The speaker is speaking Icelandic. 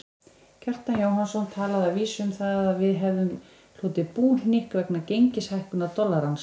Kjartan Jóhannsson talaði að vísu um að við hefðum hlotið búhnykk vegna gengishækkunar dollarans.